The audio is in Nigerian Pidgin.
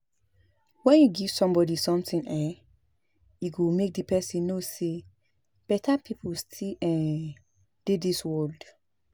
If you give somebody something um e go make the person know say beta people still um dey dis world